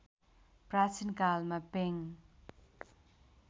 प्राचीन कालमा पेङ